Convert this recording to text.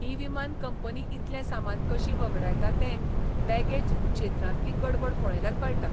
ही विमान कंपनी इतलें सामान कशी वगडायता तें बॅगेज क्षेत्रांतली गडबड पळयल्यार कळटा.